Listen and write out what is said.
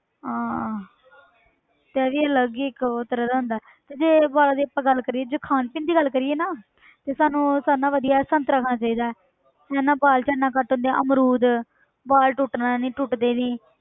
ਹਾਂ ਤੇ ਇਹ ਵੀ ਅਲੱਗ ਹੀ ਇੱਕ ਉਹ ਤਰ੍ਹਾਂ ਦਾ ਹੁੰਦਾ ਹੈ ਤੇ ਜੇ ਵਾਲਾਂ ਦੀ ਆਪਾਂ ਗੱਲ ਕਰੀਏ ਜੇ ਖਾਣ ਪੀਣ ਦੀ ਗੱਲ ਕਰੀਏ ਨਾ ਤੇ ਸਾਨੂੰ ਸਭ ਨਾਲੋਂ ਵਧੀਆ ਸੰਤਰਾ ਖਾਣਾ ਚਾਹੀਦਾ ਹੈ ਇਹਦੇ ਨਾਲ ਵਾਲ ਝੜਨਾ ਘੱਟ ਹੁੰਦੇ ਆ ਅਮਰੂਦ ਵਾਲ ਟੁੱਟਣਾ ਨੀ ਟੁੱਟਦੇ ਨੀ